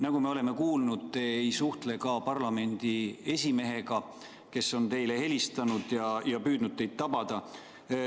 Nagu me oleme kuulnud, te ei suhtle ka parlamendi esimehega, kes on teile helistanud ja püüdnud teid tabada.